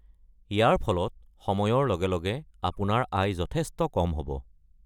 ইয়াৰ ফলত সময়ৰ লগে লগে আপোনাৰ আয় যথেষ্ট কম হ’ব।